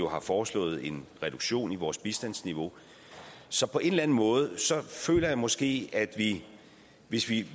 har foreslået en reduktion i vores bistandsniveau så på en eller anden måde føler jeg måske at hvis vi